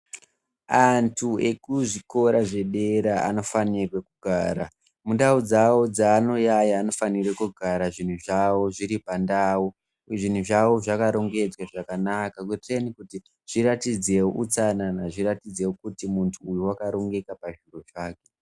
Antu ekuzvikora zvedera anofanirwe kugara mundau dzavo dzaanoyaya. Anofanira kugara zviro zvavo zviri pandau. Zvinhu zvavo zvakarongedzwa zvakanaka zviratidze utsanana ,zviratidze kuti muntu uyu wakarongeka pazviro zvake.